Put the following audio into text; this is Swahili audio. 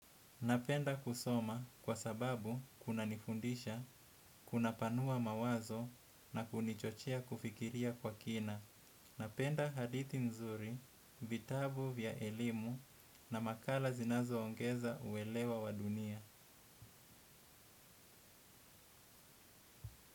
Napenda kusoma kwa sababu kunanifundisha, kunapanua mawazo na kunichochea kufikiria kwa kina. Napenda hadithi nzuri, vitabu vya elimu na makala zinazoongeza uelewa wa dunia.